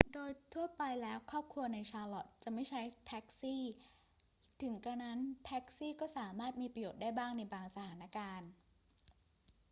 โดยทั่วไปแล้วครอบครัวใน charlotte จะไม่ใช้แท็กซี่ ถึงกระนั้นแท็กซี่ก็สามารถมีประโยชน์ได้บ้างในบางสถานการณ์